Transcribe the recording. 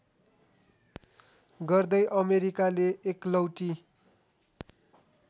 गर्दै अमेरिकाले एकलौटी